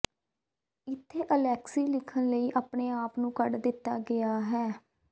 ਇੱਥੇ ਅਲੈਕਸੀ ਲਿਖਣ ਲਈ ਆਪਣੇ ਆਪ ਨੂੰ ਕੱਢ ਦਿੱਤਾ ਗਿਆ ਹੈ